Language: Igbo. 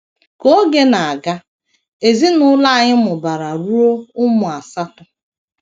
Ka oge na - aga, ezinụlọ anyị mụbara ruo ụmụ asatọ.